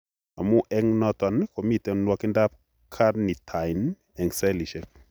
Amun eng' noton miten nwogindab carnitine eng' cellisiek